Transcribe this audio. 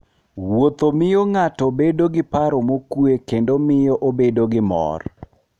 Wuotho miyo ng'ato bedo gi paro mokuwe kendo miyo obedo gi mor.